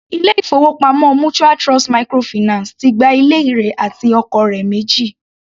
Ilé-ìfowópamọ́ mutual Trust microfinance ti gba ilé rẹ̀ àti ọkọ̀ rẹ̀ méjì.